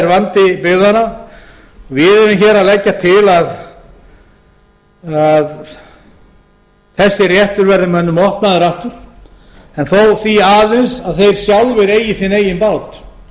vandi byggðanna við erum hér að leggja til að þessi réttur verði mönnum opnaður aftur en þó því aðeins að þeir sjálfir eigi sinn eigin bát